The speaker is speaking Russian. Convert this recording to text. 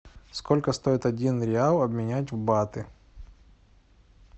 сколько стоит один реал обменять в баты